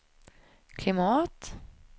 klimat